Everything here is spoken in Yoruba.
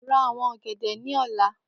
Ra awon ogede ni ọla!